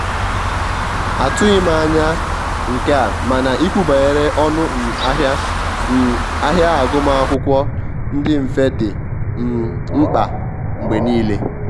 atughi m anya nke a mana ikwu banyere ọnụ um ahịa um ahịa agụma akwụkwo ndi mfe di um mkpa mgbe nile.